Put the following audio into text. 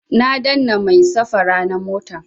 Na dannan mai safara na motan